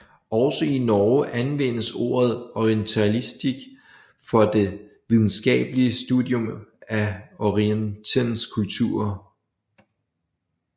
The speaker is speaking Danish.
Også i Norge anvendes ordet orientalistikk for det videnskabelige studium af Orientens kulturer